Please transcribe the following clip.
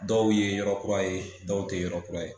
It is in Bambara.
Dɔw ye yɔrɔ kura ye dɔw tɛ yɔrɔ kura ye.